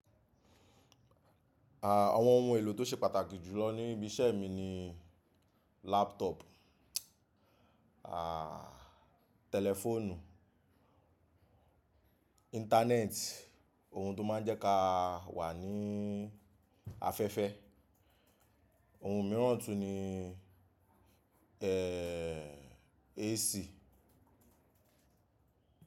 Àwọn ohun èlò tó ṣe pàtàkì jùlọ ní ibi iṣẹ́ mi ni laptop, à tẹlifóònù, internet ohun tó máa ń jẹ́ ka wà ní afẹ́fẹ́, ohun mìíràn tún ni ẹ́ AC.